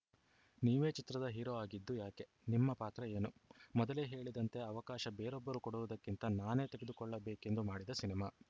ನೀವೇ ಚಿತ್ರದ ಹೀರೋ ಆಗಿದ್ದು ಯಾಕೆ ನಿಮ್ಮ ಪಾತ್ರ ಏನು ಮೊದಲೇ ಹೇಳಿದಂತೆ ಅವಕಾಶ ಬೇರೊಬ್ಬರು ಕೊಡುವುದಕ್ಕಿಂತ ನಾನೇ ತೆಗೆದುಕೊಳ್ಳಬೇಕೆಂದು ಮಾಡಿದ ಸಿನಿಮಾ